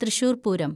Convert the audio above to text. Thrissur‍ Pooram